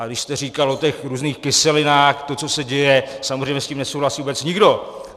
A když jste říkal o těch různých kyselinách, to, co se děje, samozřejmě s tím nesouhlasí vůbec nikdo.